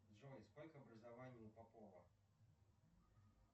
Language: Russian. джой сколько образований у попова